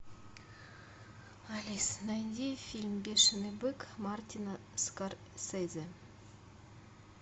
алиса найди фильм бешеный бык мартина скорсезе